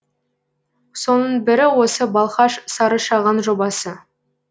соның бірі осы балқаш сарышаған жобасы